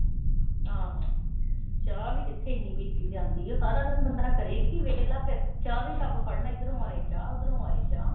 ਚਾਹ ਵੀ ਕਿੱਥੇ ਇਨੀ ਪੀਤੀ ਜਾਂਦੀ ਆ। ਸਾਰਾ ਦਿਨ ਬੰਦਾ ਕਰੇ ਕੀ ਵਿਹਲਾ ਫਿਰ। ਚਾਹ ਦਾ ਈ ਕੱਪ ਫੜਨਾ। ਇਧਰੋਂ ਆਏ ਚਾਹ, ਉਧਰੋਂ ਆਏ ਚਾਹ।